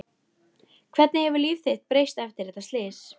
Hvernig hefur líf þitt breyst eftir þetta slys?